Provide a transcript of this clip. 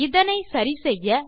இதனை சரி செய்ய